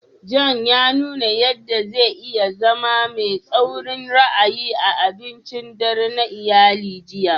John ya nuna yadda zai iya zama mai tsaurin ra'ayi a abincin dare na iyali jiya.